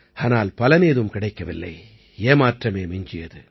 ஆனால் பலனேதும் கிடைக்கவில்லை ஏமாற்றமே மிஞ்சியது